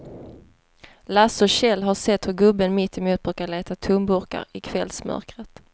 Lasse och Kjell har sett hur gubben mittemot brukar leta tomburkar i kvällsmörkret.